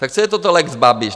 Tak co je to lex Babiš?